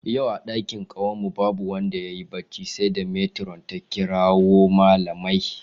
Yau a ɗakin kwanan mu babu wanda yayi barci sai da metiron ta kirawo malamai